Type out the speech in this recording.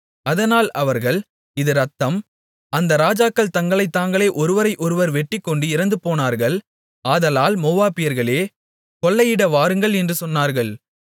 அதனால் அவர்கள் இது இரத்தம் அந்த ராஜாக்கள் தங்களைத் தாங்களே ஒருவரை ஒருவர் வெட்டிக்கொண்டு இறந்துபோனார்கள் ஆதலால் மோவாபியர்களே கொள்ளையிட வாருங்கள் என்று சொன்னார்கள்